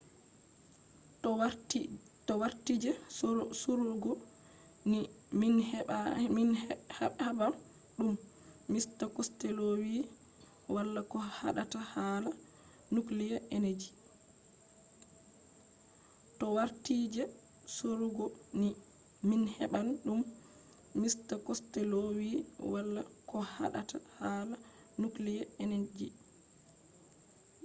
to warti je sorugo ni min heɓan ɗum. mista costello wi wala ko haɗata hala nukliya eneji.